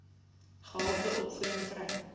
gehalte opvoeding kry